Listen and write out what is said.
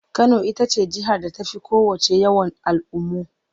Kano ita ce jihar da ta fi kowacce yawan al'ummu.